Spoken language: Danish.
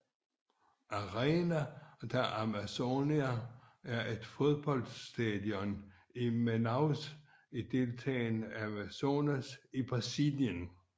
Arena da Amazônia er et fodboldstadion i Manaus i delstaten Amazonas i Brasilien